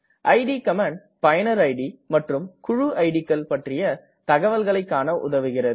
it command பயனர் id மற்றும் குழு இட் கள் பற்றிய தகவல்களை காண உதவுகிறது